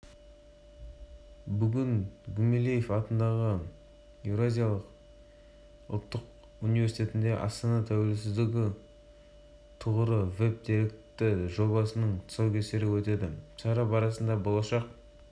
еткен сингапур оқу процесінде ең үздік түлектерді білім беру саласына тартады дейді ол яғни мұғалімдер